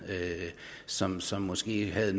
som som måske havde